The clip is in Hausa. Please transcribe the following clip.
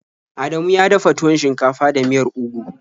Adamu ya dafa tuwon shinkafa da miyar ugu.